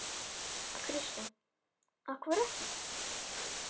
Kristján: Af hverju ekki?